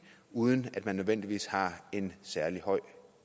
uden at man nødvendigvis har en særlig høj